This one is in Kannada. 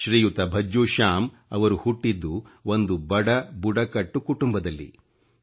ಶ್ರೀಯುತ ಭಜ್ಜೂ ಶ್ಯಾಮ್ ಅವರು ಹುಟ್ಟಿದ್ದು ಒಂದು ಬಡ ಬುಡಕಟ್ಟು ಕುಂಟುಂಬದಲ್ಲಿ